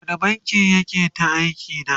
a wani bankin yake ta aiki da?